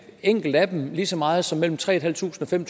enkelt af dem lige så meget som mellem tre tusind fem